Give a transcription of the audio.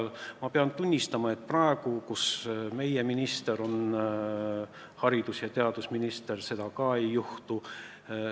Ja paraku pean tunnistama, et praegu, kui meie erakonna esindaja on haridus- ja teadusminister, seda ka ei juhtu.